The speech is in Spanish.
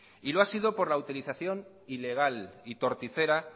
y lo ha sido por la utilización ilegal y torticera